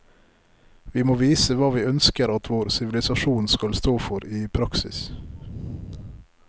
Vi må vise hva vi ønsker at vår sivilisasjon skal stå for i praksis.